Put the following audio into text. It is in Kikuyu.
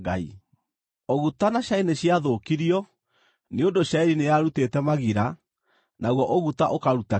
(Ũguta na cairi nĩciathũkirio, nĩ ũndũ cairi nĩyarutĩte magira, naguo ũguta ũkaruta kĩro.